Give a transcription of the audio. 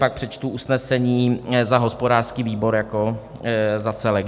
Pak přečtu usnesení za hospodářský výbor jako za celek.